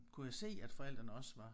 Kunne jeg se at forældrene også var